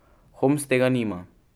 Homs tega nima.